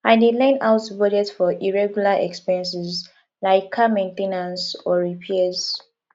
i dey learn how to budget for irregular expenses like car main ten ance or repairs